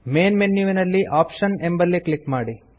main ಮೆನ್ಯುವಿನಲ್ಲಿ options ಎಂಬಲ್ಲಿ click ಮಾಡಿ